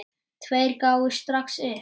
Tveir gáfust strax upp.